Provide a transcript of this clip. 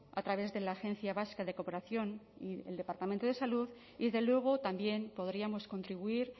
a través de la agencia vasca de cooperación y el departamento de salud y desde luego también podríamos contribuir